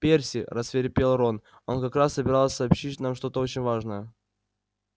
перси рассвирепел рон она как раз собиралась сообщить нам что-то очень важное